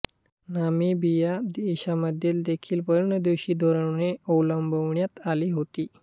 Namibia देशामध्ये देखील वर्णद्वेषी धोरणे अवलंबण्यात आली होती